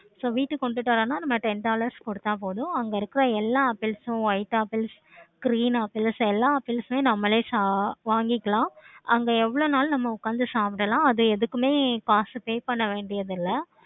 so வீட்டுக்கு கொண்டுட்டு வந்த நம்ம ten dollars கொடுத்தா போதும். அங்க இருக்க எல்லா updates உம் white apples, green apples எல்லா apples உம் நம்மளே வாங்கிக்கலாம். அங்க எவளோ நாலும் நம்ம உட்காந்து சாப்பிடலாம். அத எதுக்குமே காசு pay பண்ண வேண்டியது இல்லை.